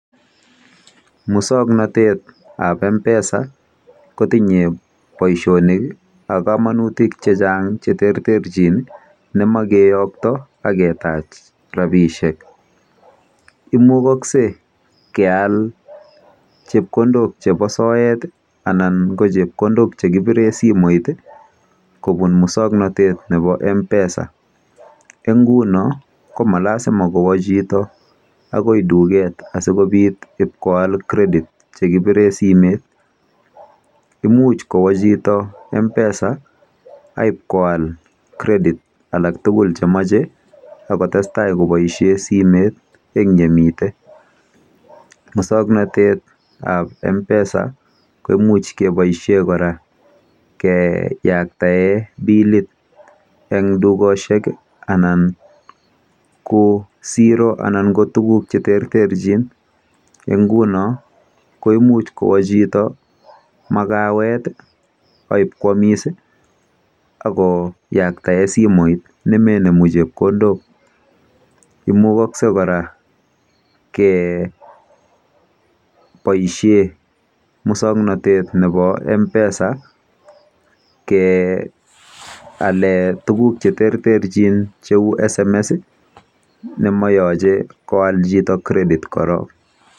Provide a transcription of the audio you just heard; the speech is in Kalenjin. Musognotet ab mpesa kotinye boisionik ab komangitik chechang cheterterchin nemoche koyoktoet ab rabishek imukogse keyai chepkondok chebo soet anan ko chepkondok che kibiren simoit kopun musognotet nebo mpesa en ingunon komalasima kwo chito agoi tuget asigobiit koyal credit chekipiren simoit imuch kowo chito m-pesa akipokoyal credit alak tugul chemoche agotestai keboisien simoit en yemiten musognotet ab mpesa koimuch keboishen kora keyaktoen bilit en tugosiek anan koziroalan kotuguk cheterterchin ingunon koimuch koboi chito magawet aipkoyomis ago yakta simoit konde chepkondok imukogse kora keboisien musognotet nebo mpesa keyalen tuguk cheterterchin cheu sms nemoyoche koyal chito credit koron